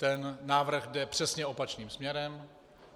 Ten návrh jde přesně opačným směrem.